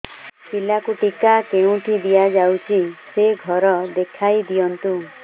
ପିଲାକୁ ଟିକା କେଉଁଠି ଦିଆଯାଉଛି ସେ ଘର ଦେଖାଇ ଦିଅନ୍ତୁ